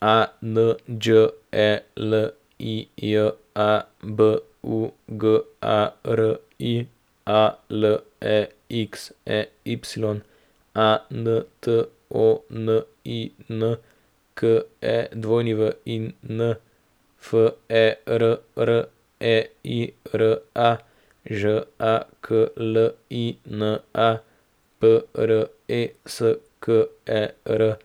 A N Đ E L I J A, B U G A R I; A L E X E Y, A N T O N I N; K E W I N, F E R R E I R A; Ž A K L I N A, P R E S K E R;